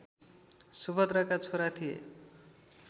सुभद्राका छोरा थिए